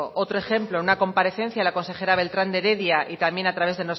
otro ejemplo en una comparecencia la consejera beltrán de heredia y también a través